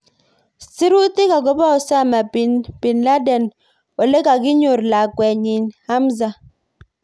Sirutik akobo Osama Binladen olekakinyor lakwet nyi Hamza.